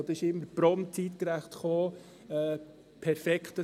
Das kam immer prompt, zeitgereicht, perfekt.